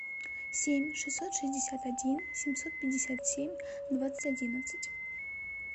семь шестьсот шестьдесят один семьсот пятьдесят семь двадцать одиннадцать